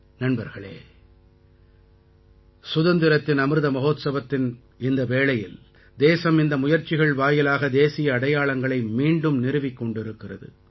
நண்பர்களே சுதந்திரத்தின் அமிர்த மஹோத்சவத்தின் இந்த வேளையில் தேசம் இந்த முயற்சிகள் வாயிலாக தேசிய அடையாளங்களை மீண்டும் நிறுவிக் கொண்டிருக்கிறது